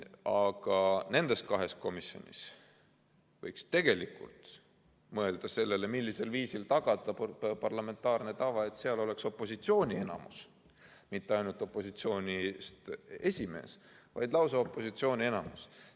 Aga nendes kahes komisjonis võiks tegelikult mõelda sellele, millisel viisil tagada parlamentaarne tava, et seal oleks opositsiooni enamus, st mitte ainult esimees poleks opositsioonist, vaid oleks lausa opositsiooni enamus.